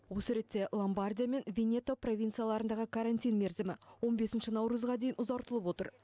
осы ретте ломбардия мен венето провинцияларындағы карантин мерзімі он бесінші наурызға дейін ұзартылып отыр